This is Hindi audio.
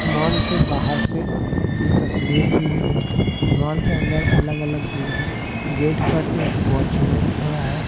मॉल के बाहर से ते तस्वीर ली गई है मॉल के अंदर अलग अलग चीजें हैं गेट पर एक वॉचमैन खड़ा है।